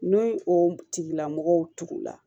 N'o ye o tigilamɔgɔw tugula